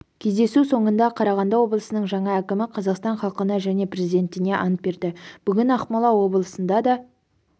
кездесу соңында қарағанды облысының жаңа әкімі қазақстан халқына және президентіне ант берді бүгін ақмола облысында да